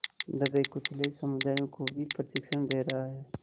दबेकुचले समुदायों को भी प्रशिक्षण दे रहा है